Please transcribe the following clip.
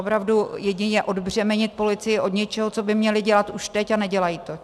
Opravdu jedině odbřemenit policii od něčeho, co by měli dělat už teď a nedělají to.